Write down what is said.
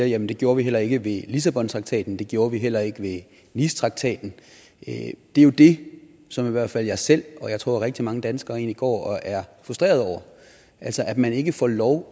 jamen det gjorde vi heller ikke ved lissabontraktaten det gjorde vi heller ikke ved nicetraktaten det er jo det som i hvert fald jeg selv og jeg tror rigtig mange danskere egentlig går og er frustrerede over altså at man ikke får lov